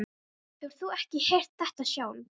Hefur þú ekki heyrt þetta sjálf?